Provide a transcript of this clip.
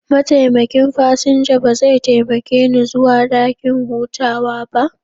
Mataimakin fasinja ba zai taimake ni zuwa dakin hutawa ba.